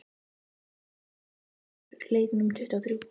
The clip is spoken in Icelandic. Hófí, hvenær kemur leið númer tuttugu og þrjú?